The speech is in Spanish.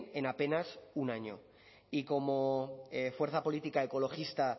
en apenas un año y como fuerza política ecologista